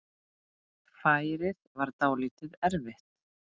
Færið var dálítið erfitt.